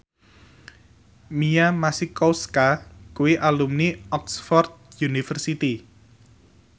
Mia Masikowska kuwi alumni Oxford university